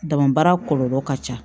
Dama baara kɔlɔlɔ ka ca